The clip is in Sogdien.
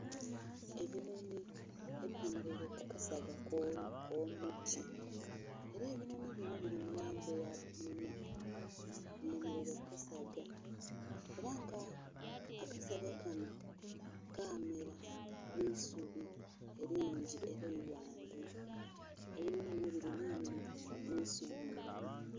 Ebinhonhi eyemereire kukasaga akomuti, era ebinhonhi binho biri mulangi eya bbululu byemeraire kukasaga era nga akasaga kanho kamera mwiisubi lingi era ighanvu ebinhonhi binho biri nhenhwa emisongovu.